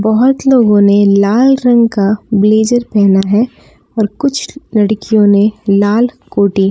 बहोत लोगों ने लाल रंग का ब्लेजर पहना है और कुछ लड़कियों ने लाल कोटी।